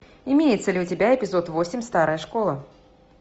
имеется ли у тебя эпизод восемь старая школа